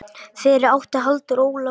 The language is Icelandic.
Fyrir átti Halldór Ólaf Natan.